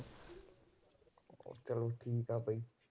ਉਹ ਚੱਲ ਠੀਕ ਹੈ ਬਾਈ।